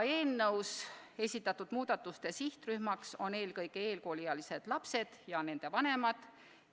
Eelnõus esitatud muudatuste sihtrühmaks on eelkõige koolieelikud ja nende vanemad.